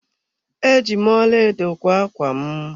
Eji m ọlaedo kwa ákwá m.